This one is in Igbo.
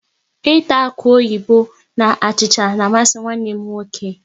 Ịta akuoyibo na achịcha na amasị nwanne m nwoke